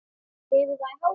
Hefur það í hárinu.